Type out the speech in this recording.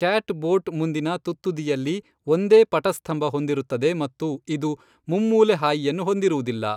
Cat boat ಮುಂದಿನ ತುತ್ತುದಿಯಲ್ಲಿ ಒಂದೇ ಪಟಸ್ತಂಭ ಹೊಂದಿರುತ್ತದೆ ಮತ್ತು ಇದು ಮುಮ್ಮೂಲೆ ಹಾಯಿಯನ್ನು ಹೊಂದಿರುವುದಿಲ್ಲ.